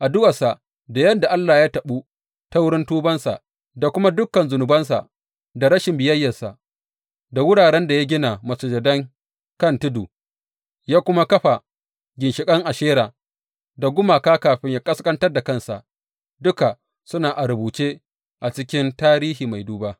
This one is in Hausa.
Addu’arsa da yadda Allah ya taɓu ta wurin tubansa, da kuma dukan zunubansa da rashin biyayyarsa, da wuraren da ya gina masujadan kan tudu ya kuma kafa ginshiƙan Ashera da gumaka kafin ya ƙasƙantar da kansa, duka suna a rubuce cikin tarihin mai duba.